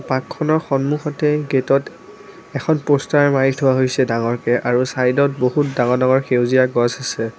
পৰ্কখনৰ সন্মুখতেই গেটত এখন পোষ্টাৰ মাৰি থোৱা হৈছে ডাঙৰকে আৰু চাইদত বহুত ডাঙৰ ডাঙৰ সেউজীয়া গছ আছে।